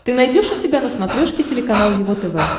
ты найдешь у себя на смотрешке телеканал его тв